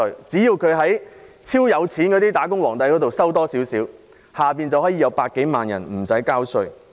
只要超高收入的"打工皇帝"多交少許稅，便會有100多萬人無需交稅。